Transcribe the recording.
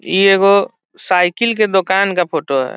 ई एगो साइकिल के दुकान का फोटो है।